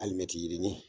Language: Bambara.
Alimɛti yirini